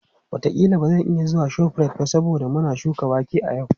Wataƙila ba zan iya zuwa ShopRite ba saboda muna shuka wake a yau.